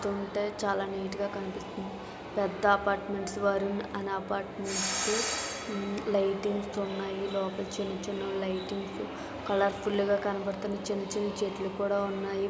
చూస్తుంటే చాలా నీట్ గా కనిపిస్తుంది పెద్ద అపార్ట్మెంట్స్ వారు అన్ని అపార్ట్మెంట్స్ లైటింగ్స్ ఉన్నాయి లోపల చిన్న చిన్నవి లైటింగ్స్ కలర్ఫుల్ గా కనపడుతున్నాయి చిన్న చిన్న చెట్లు కుడా ఉన్నాయి.